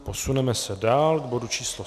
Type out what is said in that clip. Posuneme se dál k bodu číslo